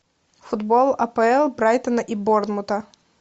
футбол апл брайтона и борнмута